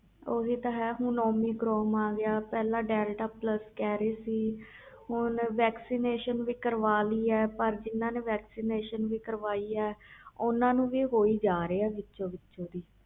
ਓਹੀ ਤੇ ਹੈ ਹੁਣ omicron ਆ ਗਿਆ ਪਹਿਲੇ deltaplus ਕਹਿ ਰਹੇ ਸੀ vaccination ਵੀ ਕਰਵਾ ਲਈ ਪਰ ਜਿੰਨੇ vaccination ਵੀ ਕਾਰਵਾਈ ਏ ਓਹਨੂੰ ਹੋਈ ਜਾਂਦਾ ਪਿਆ